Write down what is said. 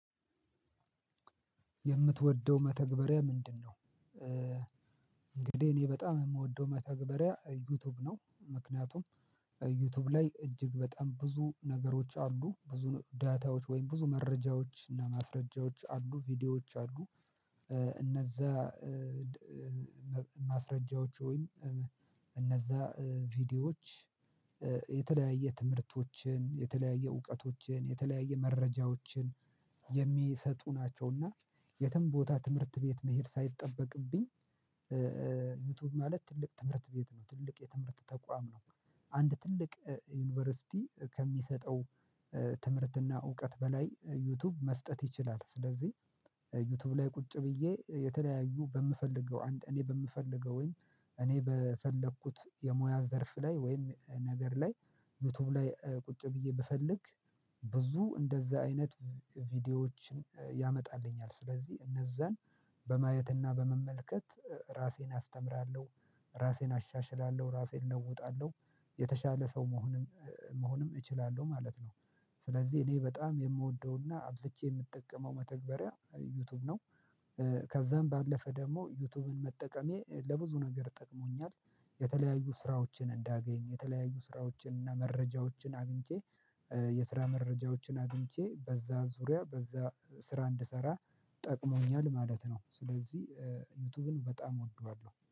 የምትወደው መተግበሪያ ምንድነው? እንግዲህ እኔ በጣም የምወደው መተግበሪያ ዩቲዩብ ነው ምክንያቱም ዩቲዩብ ላይ እጅግ በጣም ብዙ ነገሮች አሉ ብዙ ዳታዎች ወይም ብዙ መረጃዎች እና ማስረጃዎች አሉ ቪዲዮዎች አሉ እነዛ ማስረጃዎች ወይም እነዛ ቪዲዮዎች የተለያየ ትምህርቶችን የተለያየ እውቀቶችን የተለያየ መረጃዎችን የሚሰጡ ናቸውና የትም ቦታ ትምህርት ቤት መሄድ ሳይጠበቅብኝ ዩቲዩብ ማለት ትልቅ ትምህርት ቤት ነው ትልቅ የትምህርት ተቋም ነው። አንድ ትልቅ ዩኒቨርሲቲ ከሚሰጠው ትምህርትና እውቀት በላይ ዩቲዩብ መስጠት ይችላል። ስለዚህ ዩቲዩብ ላይ ቁጭ ብዬ የተለያዩ በምፈልገው እኔ በምፈልገው ወይም እኔ በፈለኩት የሙያ ዘርፍ ላይ ወይም ነገር ላይ ዩቲዩብ ላይ ቁጭ ብዬ ብፈልግ ብዙ እንደዛ አይነት ቪዲዮዎችን ያመጣልኛል ስለዚህ እነዛን በማየትና በመመልከት ራሴን አስተምራለሁ። ራሴን አሻሽላለሁ ራሴን እለውጣለሁ የተሻለ ሰው መሆንም መሆንም እችላለሁ ማለት ነው። ስለዚህ እኔ በጣም የምወደውና አብዝቼ የምጠቀመው መተግበሪያ ዩቲዩብ ነው። ከዛም ባለፈ ደግሞ ዩቲዩብን መጠቀሜ ለብዙ ነገር ጠቅሞኛል የተለያዩ ስራዎችን እንዳገኝ፤ የተለያዩ ስራዎችን እና መረጃዎችን አግኝቼ የስራ መረጃዎችን አግኝቼ በዛ ዙሪያ በዛ ስራ እንድሰራ ጠቅሞኛል ማለት ነው። ስለዚህ ዩቲዩብን በጣም እወደዋለሁ።